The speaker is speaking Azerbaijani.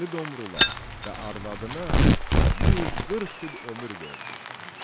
Dəli Domrula və arvadına 140 il ömür verdi.